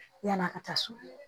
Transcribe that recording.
Yann'a ka taa so